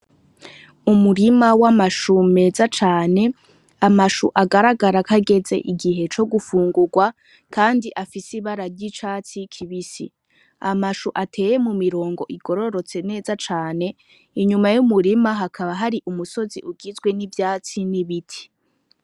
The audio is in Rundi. Umurima wamashu meza cane, amashu agaragara ko ageze igihe co gufungurwa kandi afise ibara ryicatsi kibisi amashu ateye mu mirongo igorotse neza cane inyuma yumurima hakaba hari umusozi ugizwe nivyatsi nibiti.